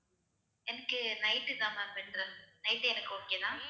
எனக்கு night தான் ma'am interest night ஏ எனக்கு okay தான்